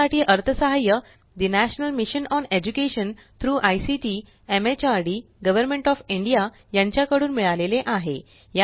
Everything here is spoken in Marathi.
यासाठी अर्थसहाय्य ठे national mission on education through ICT MHRD government of India कडून मिळाले आहे